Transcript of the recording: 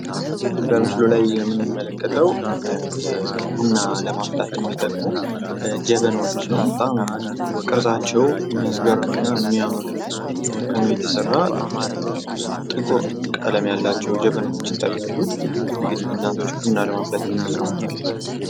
በምስሉ የምንመለከተው ቡና ለማፍላት የሚጠቅሙ ጀበናዎች ሲሆን በጣም ቅርጣቻው ሚያስገርም እና ሚያምር ሁኖ የተሰራ ጥቁር ቀለም ያላቸው ጀበናዎች ይታያሉ እንግዲህ እናቶች ቡና ለማፍላት ይጠቀሙታል ።